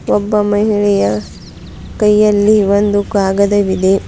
ಒಬ್ಬ ಮಹಿಳೆಯ ಕೈಯಲ್ಲಿ ಒಂದು ಕಾಗದವಿದೆ.